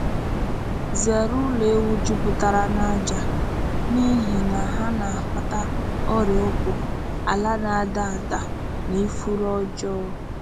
Zere ụlọ ewu jupụtara na aja n’ihi na ha na-akpata ọrịa ụkwụ, ala na-ada ada, na ifuru ọjọọ.